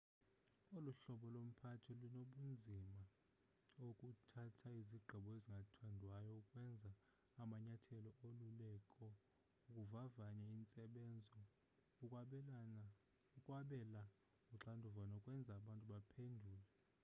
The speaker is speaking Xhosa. olu hlobo lomphathi lunobunzima ekuthatheni izigqibo ezingathandwayo ukwenza amanyathelo oluleko ukuvavanya intsebenzo ukwabela uxanduva nokwenza abantu baphendule